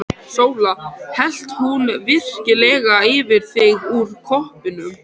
SÓLA: Hellti hún virkilega yfir þig úr koppnum!